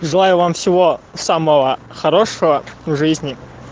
желаю вам всего самого хорошего в жизни